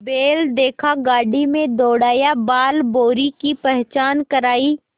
बैल देखा गाड़ी में दौड़ाया बालभौंरी की पहचान करायी